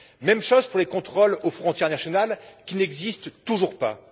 Même chose pour les contrôles aux frontières nationales qui n'existent toujours pas.